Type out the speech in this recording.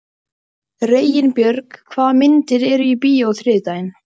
Reginbjörg, hvaða myndir eru í bíó á þriðjudaginn?